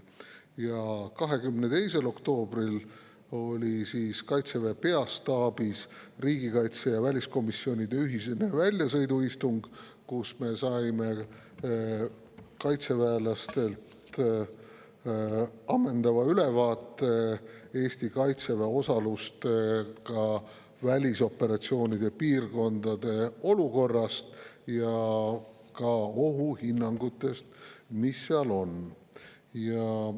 Ja 22. oktoobril oli Kaitseväe peastaabis riigikaitsekomisjoni ja väliskomisjoni ühine väljasõiduistung, kus me saime kaitseväelastelt ammendava ülevaate Eesti kaitseväe osalusega välisoperatsioonide piirkondade olukorrast ja ka ohuhinnangutest.